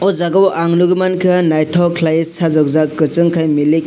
o jaga o ang nogoi mangka naitok kelaioe sajokjak kosong kei milik kei.